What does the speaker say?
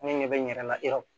Ne ɲɛ bɛ n yɛrɛ la